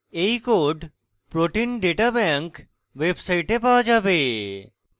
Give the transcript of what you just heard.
এই code protein data bank pdb website পাওয়া যাবে